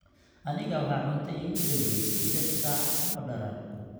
aniga waxaa cunta iigu danbeyse lix saac oo darar